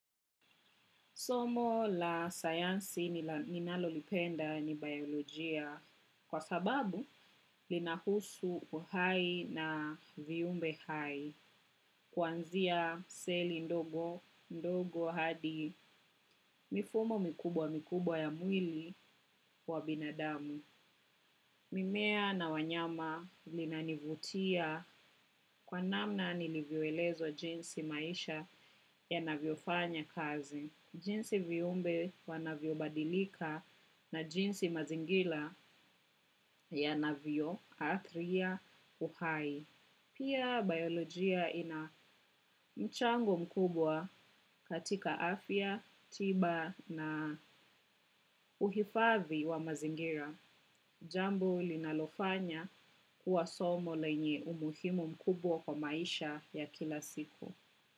Somo la sayansi ninalolipenda ni biolojia kwa sababu linahusu uhai na viumbe hai. Kuanzia seli ndogo ndogo hadi mifumo mikubwa mikubwa ya mwili wa binadamu. Mimea na wanyama vinanivutia kwa namna nilivyoelezwa jinsi maisha yanavyofanya kazi. Jinsi viumbe wanavyo badilika na jinsi mazingira yanavyo athiri uhai. Pia biolojia ina mchango mkubwa katika afya, tiba na uhifadhi wa mazingira. Jambo linalofanya kuwa somo lenye umuhimu mkubwa kwa maisha ya kila siku.